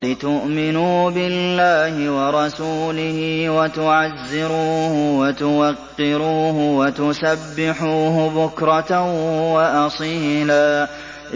لِّتُؤْمِنُوا بِاللَّهِ وَرَسُولِهِ وَتُعَزِّرُوهُ وَتُوَقِّرُوهُ وَتُسَبِّحُوهُ بُكْرَةً وَأَصِيلًا